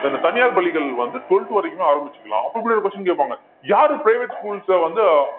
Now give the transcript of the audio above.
so இந்த தனியார் பள்ளிகள் வந்து twelfth வரைக்குமே ஆரம்பிச்சுக்கலாம் அப்ப இப்படி ஒரு question கேட்பாங்க யாரு private schools அ